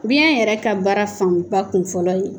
Biyɛn yɛrɛ ka baara fanba kun fɔlɔ ye